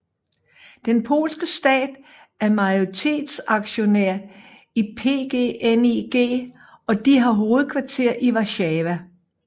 Den polske stat er majoritetsaktionær i PGNiG og de har hovedkvarter i Warszawa